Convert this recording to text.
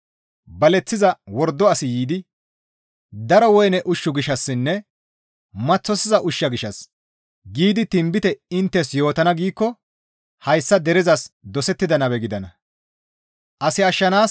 Baleththiza wordo asi yiidi, ‹Daro woyne ushshu gishshassinne maththosiza ushsha gishshas giidi tinbite inttes yootana› giikko hayssa derezas dosettida nabe gidana.